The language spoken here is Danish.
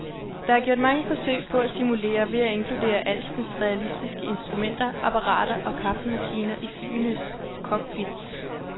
Der er gjort mange forsøg på at simulere ved at inkludere alskens realistiske instrumenter, apparater og kaffemaskiner i flyenes cockpits.